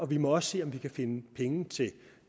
vi må også se om vi kan finde penge til